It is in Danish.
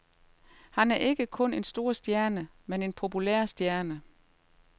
Han er ikke kun en stor stjerne, men en populær stjerne.